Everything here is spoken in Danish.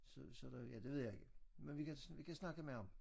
Så så der ja det ved jeg ikke. Men vi kan vi kan snakke med ham